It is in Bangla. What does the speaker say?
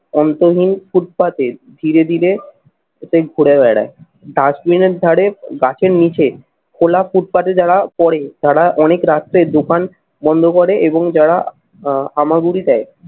অন্তহীন ফুটপাতের ধীরে ধীরে এতেই ঘুরে বেড়ায়। dustbin এর ধরে গাছের নিচে খোলা ফুটপাতে যারা পড়ে তারা অনেক রাত্রে দোকান বন্ধ করে এবং যারা আহ হামাগুড়ি দেয়